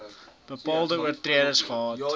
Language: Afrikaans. bepaalde oortreders gehad